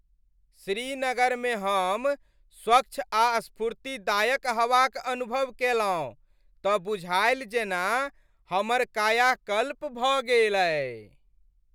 श्रीनगर में हम स्वच्छ आ स्फूर्तिदायक हवा क अनुभव केलहुँ त बुझाएल जेना हमर कायाकल्प भ गेलै।